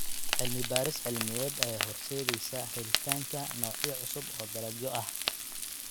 Cilmi-baaris cilmiyeed ayaa horseedaysa helitaanka noocyo cusub oo dalagyo ah.